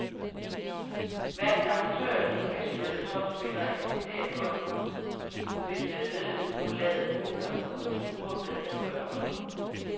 Hverken amatører eller professionelle topspillere eksisterer godt, hvis medlemsgrundlaget smuldrer, som det truer med at gøre nu.